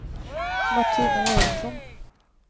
Martina Göransson